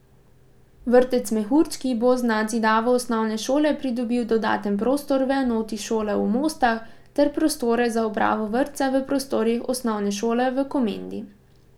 Vrtec Mehurčki bo z nadzidavo osnovne šole pridobil dodaten prostor v enoti šole v Mostah ter prostore za upravo vrtca v prostorih osnovne šole v Komendi.